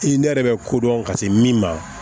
I ne yɛrɛ bɛ kodɔn ka se min ma